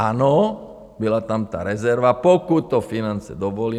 Ano, byla tam ta rezerva, pokud to finance dovolí.